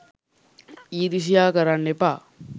ඊරිසියා කරන්න එපා